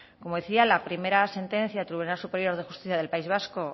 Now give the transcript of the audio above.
como decía la primera sentencia del tribunal superior de justicia del país vasco